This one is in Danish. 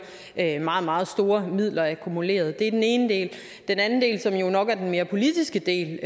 meget meget store midler akkumuleret det er den ene del den anden del er jo nok den mere politiske del